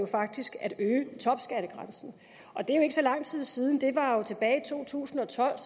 faktisk at øge topskattegrænsen og det er ikke så lang tid siden det var jo tilbage i to tusind og tolv